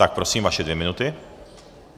Tak prosím, vaše dvě minuty.